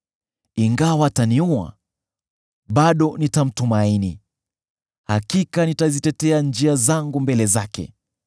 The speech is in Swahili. Ingawa ataniua, bado nitamtumaini; hakika nitazitetea njia zangu mbele zake.